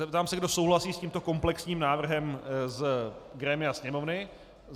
Zeptám se, kdo souhlasí s tímto komplexním návrhem z grémia Sněmovny.